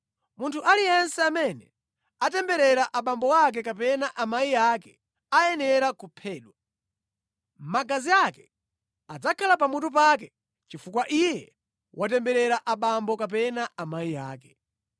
“ ‘Munthu aliyense amene atemberera abambo ake kapena amayi ake ayenera kuphedwa. Magazi ake adzakhala pamutu pake chifukwa iye watemberera abambo kapena amayi ake.